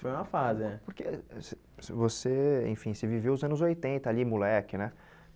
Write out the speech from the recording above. Foi uma fase, é. Porque você você, enfim, você viveu os anos oitenta ali, moleque, né?